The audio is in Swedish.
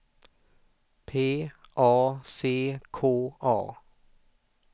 P A C K A